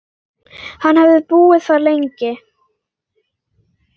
Hann hefði búið þar lengi.